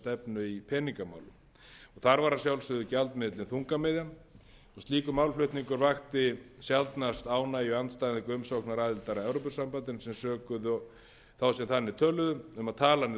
stefnu í peningamálum þar var að sjálfsögðu gjaldmiðillinn þungamiðjan slíkur málflutningur vakti sjaldnast ánægjuanda við umsókn um aðild að evrópusambandinu sem sökuðu þá sem þannig töluðu um að tala niður